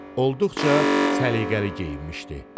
Olduqca səliqəli geyinmişdi.